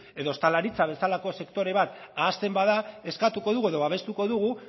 edo ostalaritza bezalako sektore bat ahazten bada eskatuko dugu edo babestuko